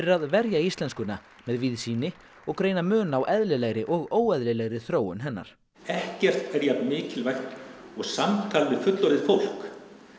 að verja íslenskuna með víðsýni og greina mun á eðlilegri og óeðlilegri þróun hennar ekkert er jafn mikilvægt og samtal við fullorðið fólk